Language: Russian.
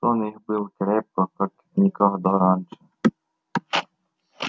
сон их был крепок как никогда раньше